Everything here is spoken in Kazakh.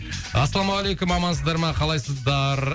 ассалаумағалейкум амансыздар ма қалайсыздар